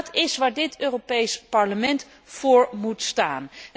En dat is waar dit Europees Parlement voor moet staan.